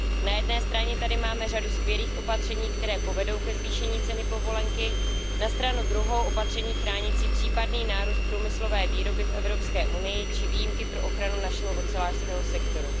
Na jedné straně tady máme řadu skvělých opatření, která povedou ke zvýšení ceny povolenky. Na stranu druhou opatření chránící případný nárůst průmyslové výroby v EU či výjimky pro ochranu našeho ocelářského sektoru.